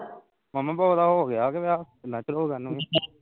ਮਾਮਾ ਓਹਦਾ ਹੋ ਗਿਆ ਵਿਆਹ ਕਿੰਨਾ ਚਿਰ ਹੋ ਗਿਆ ਉਹਨੂੰ ਵੀ